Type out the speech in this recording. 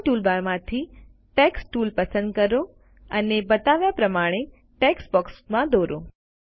drawing ટૂલબારમાંથી text tool પસંદ કરો અને બતાવ્યા પ્રમાણે ટેક્સ્ટ બોક્સમાં દોરો